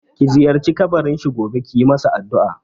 Ki ziyarci kabarin shi gobe kiyi masa addu'a!